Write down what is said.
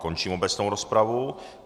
Končím obecnou rozpravu.